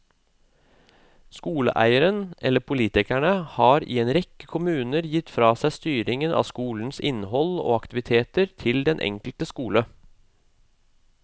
Skoleeieren eller politikerne har i en rekke kommuner gitt fra seg styringen av skolens innhold og aktiviteter til den enkelte skole.